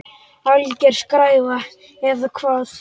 Alger skræfa eða hvað?